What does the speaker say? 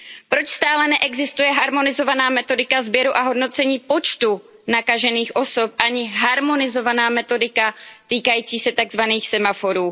Proč stále neexistuje harmonizovaná metodika sběru a hodnocení počtu nakažených osob, ani harmonizovaná metodika týkající se semaforů?